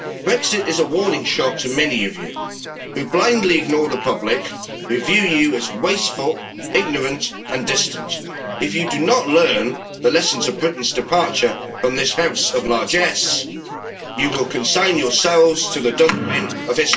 Brexit is a warning shot to many of you, who blindly ignore the public who view you as wasteful, ignorant and distant. If you do not learn the lessons of Britain's departure from this House of largesse, you will consign yourselves to the dustbin